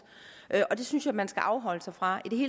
det synes jeg man skal afholde sig fra i